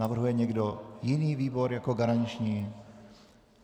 Navrhuje někdo jiný výbor jako garanční?